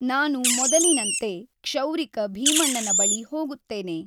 ನಾನು ಮೊದಲಿನಂತೆ, ಕ್ಷೌರಿಕ ಭೀಮಣ್ಣನ ಬಳಿ ಹೋಗುತ್ತೇನೆ.